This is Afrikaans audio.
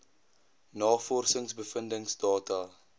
navorsings bevindings data